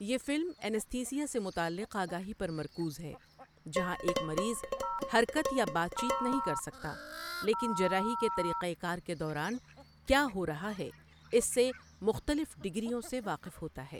یہ فلم اینستھیزیا سے متعلق آگاہی پر مرکوز ہے، جہاں ایک مریض حرکت یا بات چیت نہیں کر سکتا لیکن جراحی کے طریقہ کار کے دوران کیا ہو رہا ہے اس سے مختلف ڈگریوں سے واقف ہوتا ہے۔